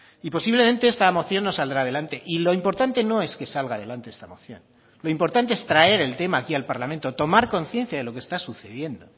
y posiblemente esta moción no saldrá adelante y lo importante no es que salga adelante esta moción lo importante es traer el tema aquí al parlamento tomar conciencia de lo que está sucediendo